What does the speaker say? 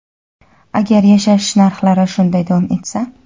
agar yashash narxlari shunday davom etsa.